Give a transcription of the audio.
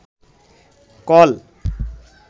call